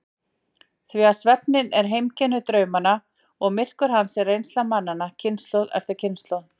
Því svefninn er heimkynni draumanna og myrkur hans er reynsla mannanna kynslóð eftir kynslóð.